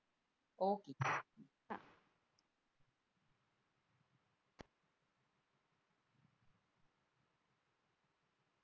okay